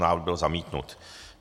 Návrh byl zamítnut.